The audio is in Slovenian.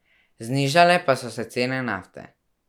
Znižale pa so se cene nafte.